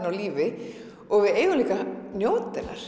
á lífi og við eigum líka að njóta hennar